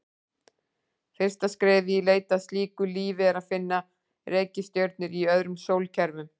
Fyrsta skrefið í leit að slíku lífi er að finna reikistjörnur í öðrum sólkerfum.